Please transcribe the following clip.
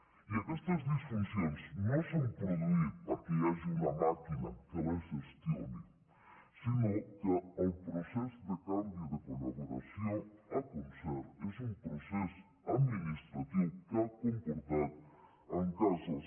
i aquestes disfuncions no s’han produït perquè hi ha una màquina que les gestioni sinó que el procés de canvi de col·laboració a concert és un procés administratiu que ha comportat en casos